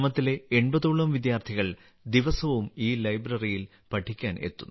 ഗ്രാമത്തിലെ 80 ഓളം വിദ്യാർത്ഥികൾ ദിവസവും ഈ ലൈബ്രറിയിൽ പഠിക്കാൻ എത്തുന്നു